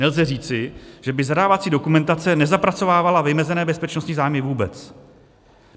Nelze říci, že by zadávací dokumentace nezapracovávala vymezené bezpečnostní zájmy vůbec.